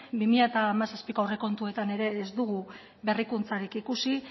bi mila hamazazpiko aurrekontuetan ere ez dugu berrikuntzarik ikusi